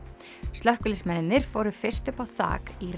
slökkviliðsmenn fóru fyrst upp á þak í